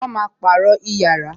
Wọn máa pàrọ̀ yàrá